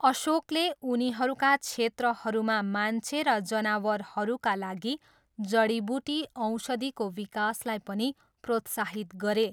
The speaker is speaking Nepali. अशोकले उनीहरूका क्षेत्रहरूमा मान्छे र जनावरहरूका लागि जडीबुटी औषधिको विकासलाई पनि प्रोत्साहित गरे।